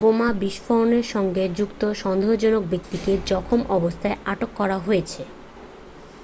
বোমা বিস্ফোরণের সঙ্গে যুক্ত সন্দেহজনক ব্যক্তিকে জখম অবস্থায় আটক করা হয়েছে